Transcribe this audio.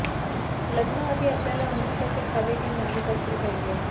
लग्नाआधी आपल्याला अन्न कसे खावे हे माहित असले पाहिजे